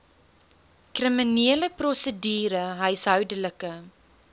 kriminele prosedure huishoudelike